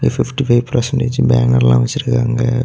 Fifty five percentage பேனர்லா வச்சிருக்காங்க.